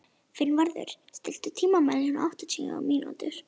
Finnvarður, stilltu tímamælinn á áttatíu mínútur.